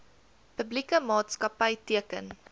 publieke maatskapy teken